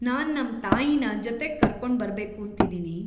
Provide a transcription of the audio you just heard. ನಾನ್‌ ನಮ್ ತಾಯಿನ ಜೊತೆಗ್‌ ಕರ್ಕೊಂಡ್ ಬರ್ಬೇಕೂಂತ ಇದೀನಿ.